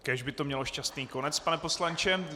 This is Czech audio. Kéž by to mělo šťastný konec, pane poslanče.